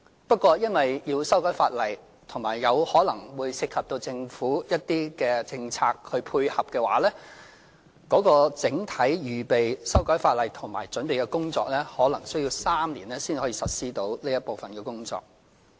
不過，由於要修改法例，以及有可能涉及政府一些政策以作出配合，整體預備修改法例和準備的工作可能需要3年，然後才能實施這一部分的工作。